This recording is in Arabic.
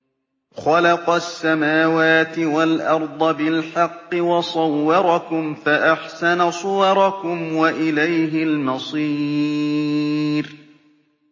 خَلَقَ السَّمَاوَاتِ وَالْأَرْضَ بِالْحَقِّ وَصَوَّرَكُمْ فَأَحْسَنَ صُوَرَكُمْ ۖ وَإِلَيْهِ الْمَصِيرُ